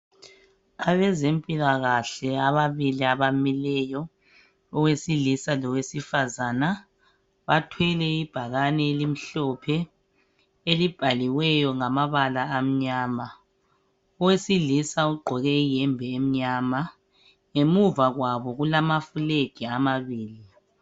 Abezempilakahle ababili abamileyo owesilisa lowesifazana bathwele ibhakane elimhlophe elibhaliweyo ngamabala amnyama. Owesilisa ugqoke iyembe emnyama ngemuva kwabo kulama flag amabili.